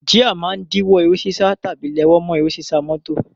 Jíà máa ń díwó eré sísá tàbí léwó mọ́ eré sísá mọ́tò.